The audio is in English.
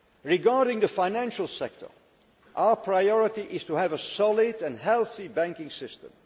Regarding the financial sector our priority is to have a solid and healthy banking system.